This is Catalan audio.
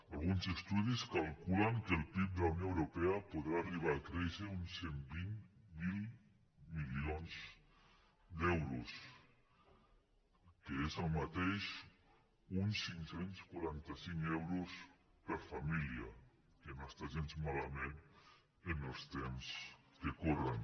alguns estudis calculen que el pib de la unió europea podrà arribar a créixer uns cent i vint miler milions d’euros que és el mateix que uns cinc cents i quaranta cinc euros per família que no està gens malament en els temps que corren